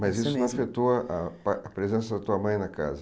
Mas isso não afetou ah a presença da tua mãe na casa?